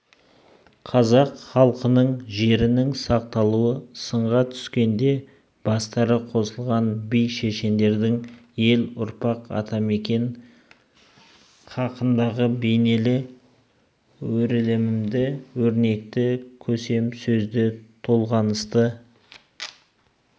қазақ халқының жерінің сақталуы сынға түскенде бастары қосылған би-шешендердің ел ұрпақ атамекен хақындағы бейнелі өрілімді өрнекті көсем сөзді-толғанысты